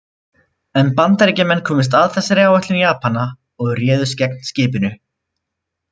En Bandaríkjamenn komust að þessari áætlun Japana og réðust gegn skipinu.